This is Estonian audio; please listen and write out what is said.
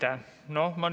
Aitäh!